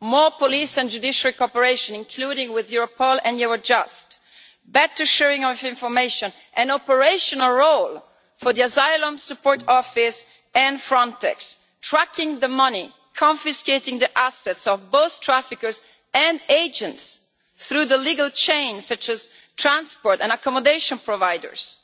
More police and judicial cooperation, including with Europol and Eurojust, better sharing of information, an operational role for the Asylum Support Office and Frontex, tracking the money, confiscating the assets of both traffickers and agents through the legal chain such as transport and accommodation providers.